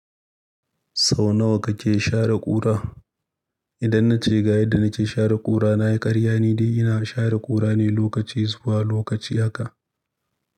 Sau nawa kake share ƙura? Idan na ce ga yadda na ke share ƙura, na yi ƙarya, ni da ina share ƙura ne lokaci zuwa lokaci haka.